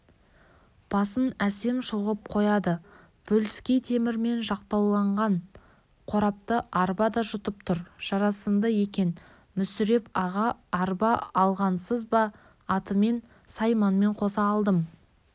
басын әсем шұлғып қояды бөліскей темірмен жақтауланған қорапты арба да жұтынып тұр жарасымды екен мүсіреп аға арба алғансыз ба атымен сайманымен қоса алдым